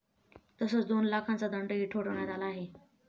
तसंच दोन लाखांचा दंडही ठोठावण्यात आला आहे.